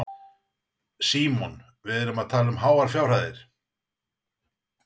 Símon: Við erum því að tala um háar fjárhæðir?